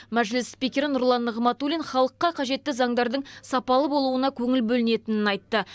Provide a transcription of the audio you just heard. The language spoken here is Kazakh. мәжіліс спикері нұрлан нығматулин халыққа қажетті заңдардың сапалы болуына көңіл бөлінетінін айтты